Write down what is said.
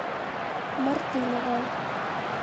мартынова